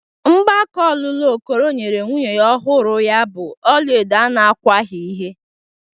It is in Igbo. Mgbaka ọlụlụ Okoro nyere nwunye ọhụrụ ya bụ ọla edo a na-agwaghị ihe.